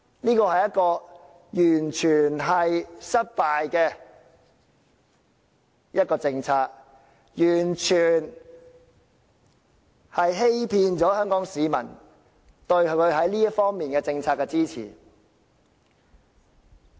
這是完全失敗的政策，政府完全騙取了香港市民對它在這方面的政策的支持。